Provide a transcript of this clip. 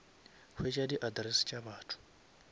hwetša di address tša batho